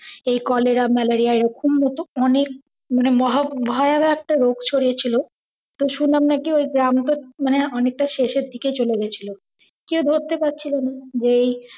এই cholera, malaria এই রকম মতো অনেক মানে ভয়াবহ একটা রোগ ছড়িয়েছিল, তো শুনলাম নাকি ঐ গ্রামটা মানে অনেকটা শেষের দিকে চলে গেছিল, কেও ধরতে পারছিল না যে এই